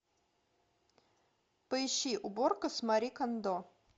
поищи уборка с мари кондо